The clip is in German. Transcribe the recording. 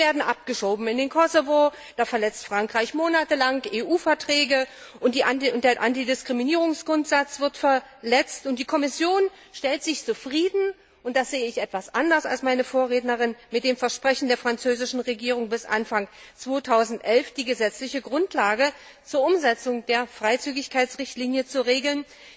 Sie werden abgeschoben in den Kosovo, da verletzt Frankreich monatelang EU Verträge, der Antidiskriminierungsgrundsatz wird verletzt und die Kommission gibt sich zufrieden, und das sehe ich etwas anders als meine Vorrednerin, mit dem Versprechen der französischen Regierung, bis Anfang 2011 die gesetzliche Grundlage zur Umsetzung der Freizügigkeitsrichtlinie zu regeln.